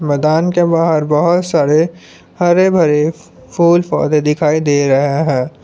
मैदान के बाहर बहोत सारे हरे भरे फूल पौधे दिखाई दे रहे हैं।